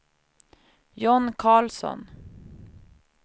John Carlsson